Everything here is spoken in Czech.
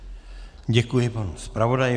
Děkuji panu zpravodaji.